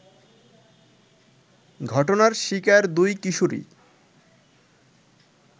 ঘটনার শিকার দুই কিশোরী